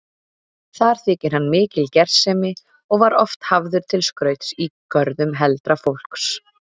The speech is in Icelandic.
Þar þykir hann mikil gersemi og var oft hafður til skrauts í görðum heldra fólks.